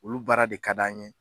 Olu baara de ka d'an ye